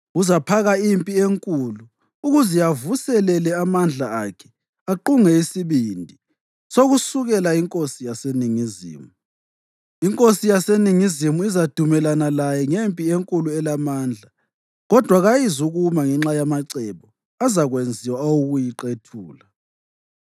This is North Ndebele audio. Uzaphaka impi enkulu ukuze avuselele amandla akhe aqunge isibindi sokusukela inkosi yaseNingizimu. Inkosi yaseNingizimu izadumelana laye ngempi enkulu elamandla, kodwa kayizukuma ngenxa yamacebo azakwenziwa awokuyiqethula.